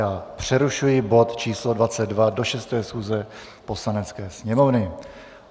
Já přerušuji bod číslo 22 do 6. schůze Poslanecké sněmovny.